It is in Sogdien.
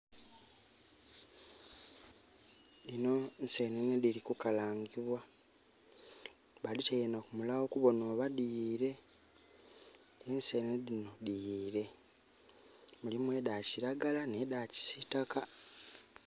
Dhino nsenene dhili kukalangibwa, badhitaile na kumulagho kubonha oba dhiyiile. Ensenene dhino dhiyiile. Mulimu edha kiragala nh'edha kisiitaka.